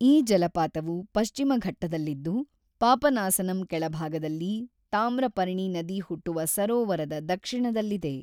ಈ ಜಲಪಾತವು ಪಶ್ಚಿಮ ಘಟ್ಟದಲ್ಲಿದ್ದು, ಪಾಪನಾಸಂನ ಕೆಳಭಾಗದಲ್ಲಿ ತಾಮ್ರಪರ್ಣಿ ನದಿ ಹುಟ್ಟುವ ಸರೋವರದ ದಕ್ಷಿಣದಲ್ಲಿದೆ.